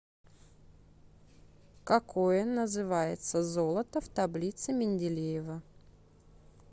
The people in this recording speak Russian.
какое называется золото в таблице менделеева